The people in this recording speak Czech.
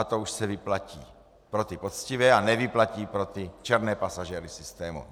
A to už se vyplatí pro ty poctivé a nevyplatí pro ty černé pasažéry systému.